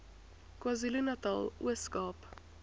kwazulunatal ooskaap